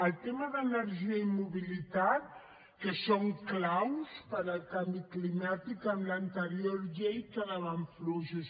els temes d’energia i mobilitat que són claus per al canvi climàtic en l’anterior llei quedaven fluixos